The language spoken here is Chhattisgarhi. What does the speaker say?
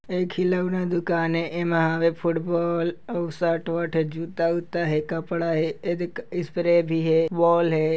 ए खिलौना दुकान ए इमा हवे फुटबॉल अउ शर्ट वर्ट हे जूता उता हे कपड़ा हे एदे स्प्रे भी हे बॉल हे।